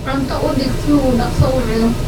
Cunto u dhig si uu dhaqso u cuno.